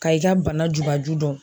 Ka i ka bana jubaju dɔn.